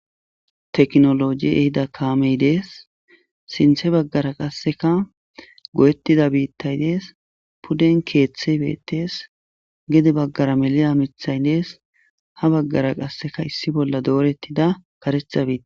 Tekinoloje ehido kaame des. Sinththe bagara qasseka go7etida biitay des. Puden keeththay beetees. Gede bagara melida miththay des. Ha bagara qassekka issi bolla doretida kareththa biita.